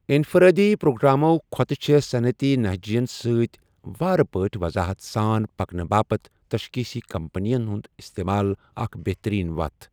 انفرٲدی پروگرامو٘ كھوتہٕ چھے٘ صنعتی نہجین سۭتۍ وارٕ پٲٹھۍ وضاحت سان پكنہٕ باپت تشخیصی كمپنی ہٗند استمال اكھَ بہترین وتھ ۔